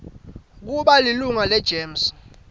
kuba lilunga legems